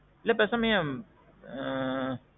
இல்ல பேசாம ஏன் ஆ.